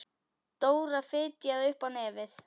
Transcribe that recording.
Dóra fitjaði upp á nefið.